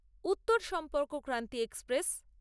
Uttar Sampark Kranti express